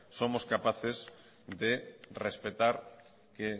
somos capaces de respetar que